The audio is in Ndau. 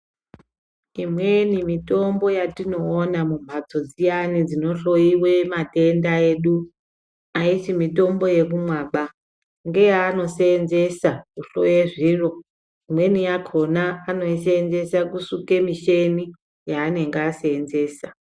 Imweni mitombo yatinoona mumhatso dziyani dzinohloiwe matenda edu. Haisi mitombo yekumwaba ngeye anosenzesa kuhloya zviro. Imweni yakona imweni yakona anoisenzese kusuka micheni yaanenge asenzesa.